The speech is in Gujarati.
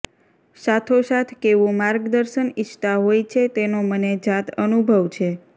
સાથો સાથ કેવુ માર્ગદર્શન ઇચ્છતા હોય છે તેનો મને જાત અનુભવ છે